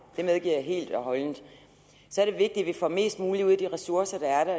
det medgiver jeg helt og holdent så er det vigtigt at få mest muligt ud af de ressourcer der er der